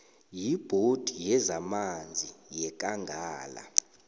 yibhodi yezamanzi yekangala